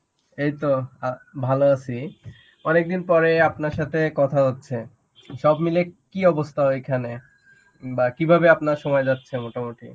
এইতো অ্যাঁ ভালো আছি. অনেকদিন পরে আপনার সাথে কথা হচ্ছে. সব মিলিয়ে কি অবস্থা ওইখানে বা কিভাবে আপনার সময় যাচ্ছে মোটামুটি?